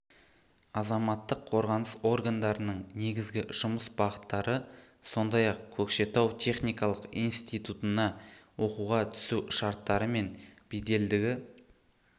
азаматтық қорғаныс органдарының негізгі жұмыс бағыттары сондай-ақ көкшетау техникалық институтына оқуға түсу шарттары мен беделдігі